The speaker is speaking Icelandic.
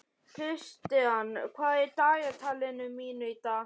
Kristian, hvað er í dagatalinu mínu í dag?